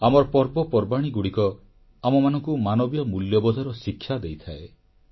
ଆମର ପର୍ବପର୍ବାଣୀଗୁଡ଼ିକ ଆମମାନଙ୍କୁ ମାନବୀୟ ମୂଲ୍ୟବୋଧର ଶିକ୍ଷା ଦେଇଥାଏ